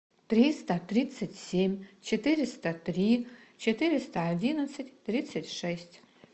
триста тридцать семь четыреста три четыреста одиннадцать тридцать шесть